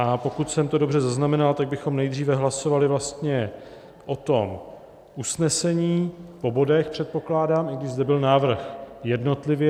A pokud jsem to dobře zaznamenal, tak bychom nejdříve hlasovali vlastně o tom usnesení po bodech, předpokládám, i když zde byl návrh jednotlivě.